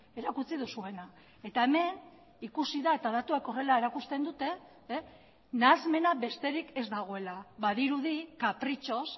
erakutsi duzuena eta hemen ikusi da eta datuak horrela erakusten dute nahasmena besterik ez dagoela badirudi kapritxoz